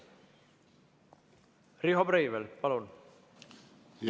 Riho Breivel, palun!